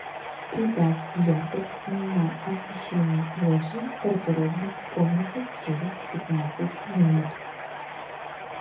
прибавь яркость на освещении лоджии в гардеробной комнате через пятнадцать минут